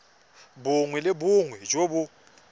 bongwe le bongwe jo bo